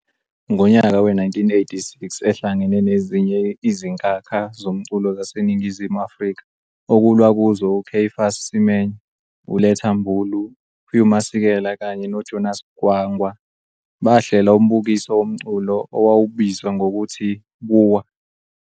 Ngonyaka we-1986 ehlangene nezinye izinkakha zomculo zaseNingizimu Afrika okulwa kuzo uCaiphus Semenya, uLetta Mbulu, Hugh Masekela kanye noJonas Gwangwa bahlela umbukiso womculo owawubiuzwa ngokuthu "Buwa".